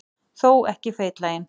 Þó ekki feitlaginn.